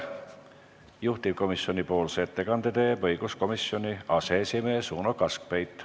Juhtivkomisjoni nimel teeb ettekande õiguskomisjoni aseesimees Uno Kaskpeit.